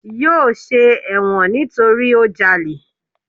Yóò ṣe ẹ̀wọ̀n nítorí ó jalè.